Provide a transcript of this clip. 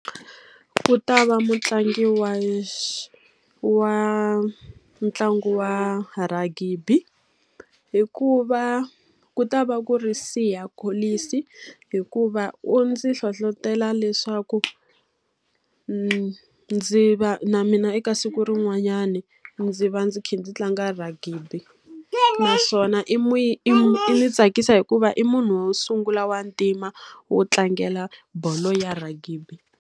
Ku ta va mutlangi wa wa ntlangu wa ragibi. Hikuva ku ta va ku ri Siya Kolisi. Hikuva u ndzi hlohletela leswaku ndzi va na mina eka siku rin'wanyani, ndzi va ndzi kha ndzi tlanga ragibi. Naswona i i i ndzi tsakisa hikuva i munhu wo sungula wa ntima, wo tlangela bolo ya ragibi.